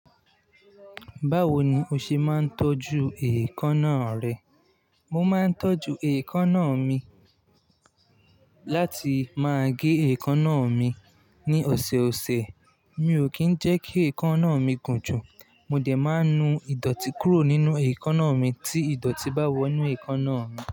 Báwo ni o ṣe máa ń tọ́jú èékánná rẹ? Mo máa ń tọ́jú èékánná mi, láti máa gé èékánná mi ní ọ̀sọ̀ọ̀sẹ̀. Mi ò kí ń jẹ́ kí èékánná mi gùn jù. Mo dè máa ń nu ìdọ̀tí kúrò nínú èékánná mi tí ìdọ̀tí bá wọ inú èékánná mi.